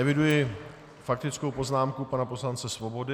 Eviduji faktickou poznámku pana poslance Svobody.